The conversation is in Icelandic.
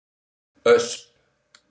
Ösp